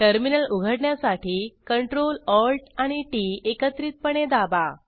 terminal उघडण्यासाठी Ctrl Alt आणि TT एकत्रितपणे दाबा